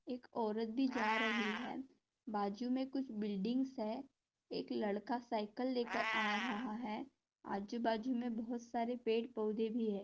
एक औरत भी जा रही है। बाजू में कूछ बिल्डिंग्स है। एक लाडका सायकल ले कर आ रहा है। आजुबाजू में बहुत सारे पेडपोधे भी है।